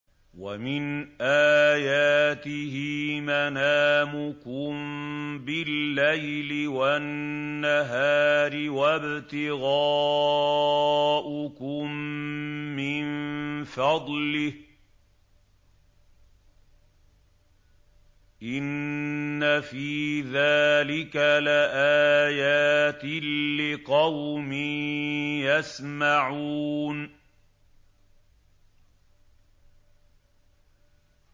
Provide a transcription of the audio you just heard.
وَمِنْ آيَاتِهِ مَنَامُكُم بِاللَّيْلِ وَالنَّهَارِ وَابْتِغَاؤُكُم مِّن فَضْلِهِ ۚ إِنَّ فِي ذَٰلِكَ لَآيَاتٍ لِّقَوْمٍ يَسْمَعُونَ